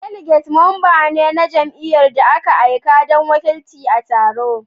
Delegate mamba ne na jamiyy'ar da aka aika don wakilci a taron